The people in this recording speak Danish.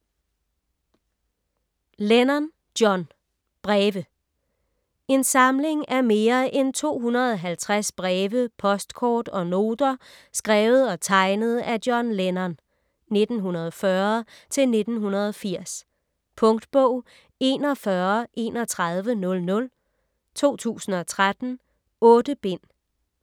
Lennon, John: Breve En samling af mere end 250 breve, postkort og noter skrevet og tegnet af John Lennon (1940-1980). Punktbog 413100 2013. 8 bind.